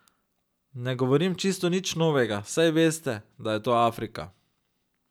Ne govorim čisto nič novega, saj veste, da je to Afrika.